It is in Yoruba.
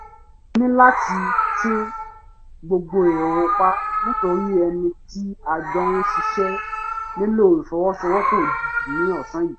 mo ní láti tún gbogbo èrò pa nítorí ẹni tí a jọ ń ṣiṣẹ́ nílò ìfọwọ́sowọ́pọ̀ òjijì ní ọ̀sán yìí